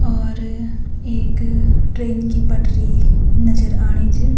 और एक ट्रेन की पटरी नजर आणि च।